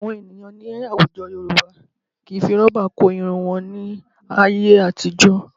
Àwọn ènìyàn ní àwùjọ Yorùbá kì í fi rọ́bà kó irun wọn ní ayé àtijọ́